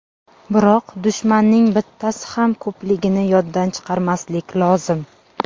Biroq dushmanning bittasi ham ko‘pligini yoddan chiqarmaslik lozim.